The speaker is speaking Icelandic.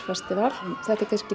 festival en þetta er kannski